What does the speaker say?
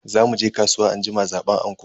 Za muje kasuwa anjima zaban anko.